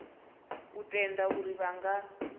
u tenda uri vha nga